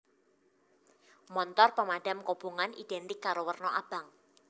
Montor pemadam kobongan identik karo werna abang